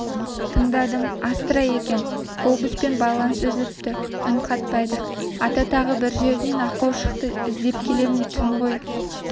тыңдадым астра екен глобуспен байланыс үзіліпті үн қатпайды ата тағы бір жерінен ақау шықты іздеп келемін түн ғой